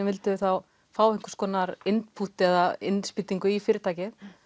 vildu þá fá einhvers konar input eða innspýtingu í fyrirtækið